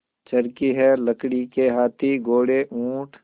चर्खी है लकड़ी के हाथी घोड़े ऊँट